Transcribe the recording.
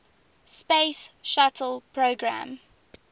space shuttle program